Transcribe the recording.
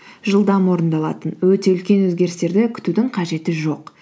жылдам орындалатын өте үлкен өзгерістерді күтудің қажеті жоқ